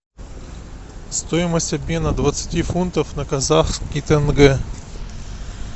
стоимость обмена двадцати фунтов на казахский тенге